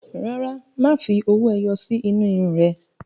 Rárá, má fi owó ẹyọ sí inú irun ún rẹ